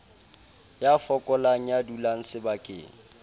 ya fokolang ya dulang sebakeng